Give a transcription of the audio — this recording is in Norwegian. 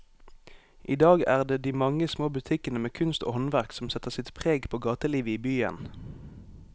I dag er det de mange små butikkene med kunst og håndverk som setter sitt preg på gatelivet i byen.